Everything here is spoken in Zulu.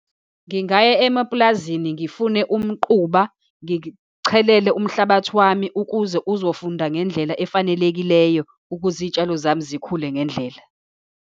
Ngingaya emapulazini ngifune umquba, ngichelele umhlabathi wami, ukuze uzofunda ngendlela efanelekileyo, ukuze iy'tshalo zami zikhule ngendlela.